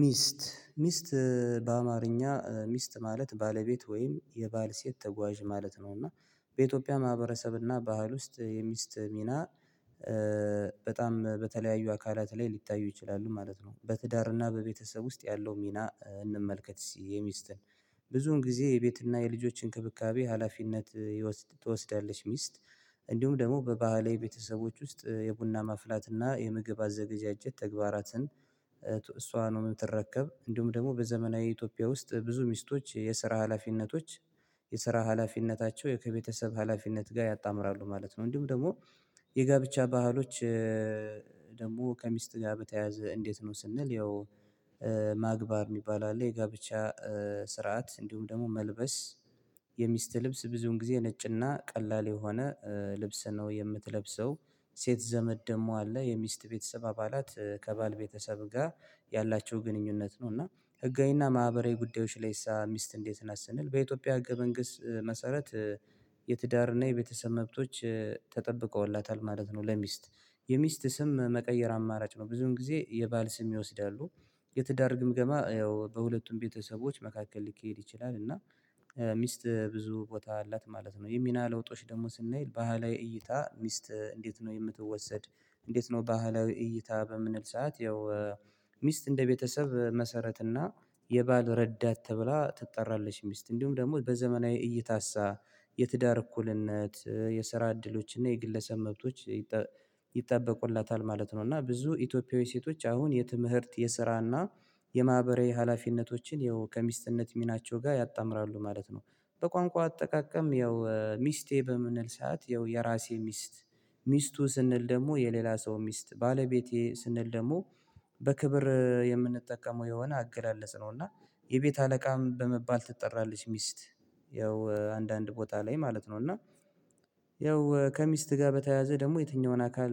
ሚስት ሚስት በአማርኛ ሚስት ማለት ባለቤት ወይም የባል ሴት ተጓዥ ማለት ነው። እና በኢትዮጵያ ማህበረሰብ እና ባህል ውስጥ የሚስት ሚና በጣም በተለያዩ አካላት ላይ ሊታዩ ይችላሉ ማለት ነው። በትዳርና በቤተሰብ ውስጥ ያለው ሚና እንመልከት የሚስትን ብዙውን ጊዜ የቤትና የልጆች እንክብካቤ ሀላፊነት ይወ ትወስዳለች ሚስት። እንዲሁም ደግሞ በባህላዊ ቤተሰቦች ውስጥ የቡና ማፍላትና የምግብ አዘገዣጀት ተግባራትን እሷ ነው የምትረከብ። እንዲሁም ደግሞ በዘመናዊ ኢትዮጵያ ውስጥ ብዙ ሚስቶች የስራ ሀላፊነቶች የስራ ሀላፊነታቸው የከቤተሰብ ሀላፊነት ጋር ያጣምራሉ ማለት ነው። እንዲሁም ደግሞ የጋብቻ ባህሎች ደግሞ ከሚስት ጋር በተያያዘ እንዴት ነው? ስንል ያው ማግባብ የሚባል አለ። የጋብቻ ስርዓት እንዲሁም ደግሞ መልበስ የሚስት ልብስ ብዙን ጊዜ ነጭና ቀላል የሆነ ልብስ ነው የምትለብሰው። ሴት ዘመድ ደግሞ አለ የሚስት ቤተሰብ አባላት ከባል ቤተሰብ ጋር ያላቸው ግንኙነት ነው። እና ህጋዊና ማህበራዊ ጉዳዮች ላይሳ ሚስት እንዴት ነት ስንል በኢትዮጵያ ህገ መንግስት መሰረት የትዳርና የቤተሰብ መብቶች ተጠብቀውላታል ማለት ነው። ለሚስት የሚስት ስም መቀየር አማራጭ ነው ብዙን ጊዜ የባል ስም ይወስዳሉ። የትዳር ግምገማ ያው በሁለቱም ቤተሰቦች መካከል ሊካሄድ ይችላል እና ሚስት ብዙ ቦታ አላት ማለት ነው። የሚና ለውጦች ደግሞ ስናይ ባህላዊ እይታ ሚስት እንዴት ነው የምትወሰድ? እንዴት ነው ባህላዊ እይታ በምንል ሰዓት ያው ሚስት እንደ ቤተሰብ መሰረት እና የባል ረዳት ተብላ ትጠራለች። ሚስት እንዲሁም ደግሞ በዘመናዊ እይታሳ የትዳር እኩልነት የስራ እድሎችና የግለሰብ መብቶች ይጠበቁላታል ማለት ነው። እና ብዙ ኢትዮጵያዊ ሴቶች አሁን የትምህርት የስራ እና የማህበራዊ ሀላፊነቶችን ይኸው ከሚስትነት ሚናቸው ጋር ያጣምራሉ ማለት ነው። በቋንቋ አጠቃቀም ያው ሚስቴ በምንል ሰዓት ያው የራሴ ሚስት ሚስቱ ስንል ደግሞ የሌላ ሰው ሚስት ባለቤቴ ስንል ደግሞ በክብር የምንጠቀመው የሆነ አገላለጽ ነው። እና የቤት አለቃም በመባል ትጠራለች ሚስት ያው አንዳንድ ቦታ ላይ ማለት ነው። እና ያው ከሚስት ጋር በተያያዘ ደግሞ የትኛውን አካል